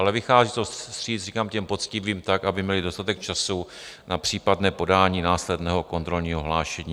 Ale vychází to vstříc, říkám, těm poctivým tak, aby měli dostatek času na případné podání následného kontrolního hlášení.